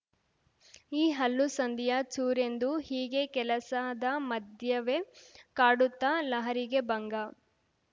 ಈ ಹಲ್ಲುಸಂದಿಯ ಚೂರೆಂದು ಹೀಗೆ ಕೆಲಸದ ಮಧ್ಯವೇ ಕಾಡುತ್ತ ಲಹರಿಗೆ ಭಂಗ